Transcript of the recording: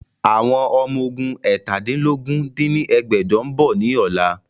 Àwọn Ọmọ ogún eétàdínlógún dín ní ẹgbẹ́jọ ń bọ̀ ni ọ̀la